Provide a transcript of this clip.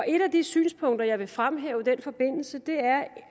et af de synspunkter jeg vil fremhæve i den forbindelse